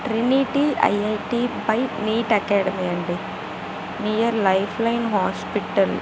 IIT. By NEET. Academy అండి near life line hospital